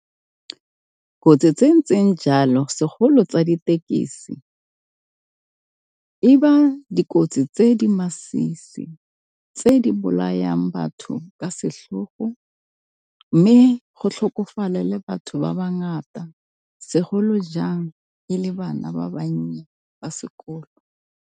Kotsi tse ntseng jalo segolo tsa ditekisi e ba dikotsi tse di masisi, tse di bolayang batho ka setlhogo, mme go tlhokofale le batho ba ba ngata segolo jang e le bana ba bannye ba sekolo.